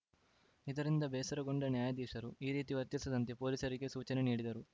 ಇದರಿಂದ ಬೇಸರಗೊಂಡ ನ್ಯಾಯಾಧೀಶರು ಈ ರೀತಿ ವರ್ತಿಸದಂತೆ ಪೊಲೀಸರಿಗೆ ಸೂಚನೆ ನೀಡಿದರು